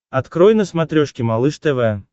открой на смотрешке малыш тв